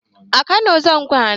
A kano zamu kwana